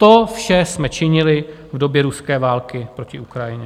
To vše jsme činili v době ruské války proti Ukrajině.